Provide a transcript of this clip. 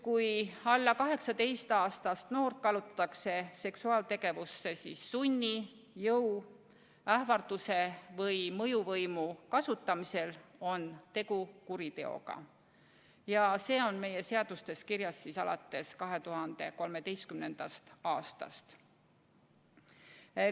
Kui alla 18-aastast noort kallutatakse seksuaaltegevusse sunni, jõu, ähvarduse või mõjuvõimu kasutamisega, on tegu kuriteoga ja see on meie seadustes kirjas alates 2013. aastast.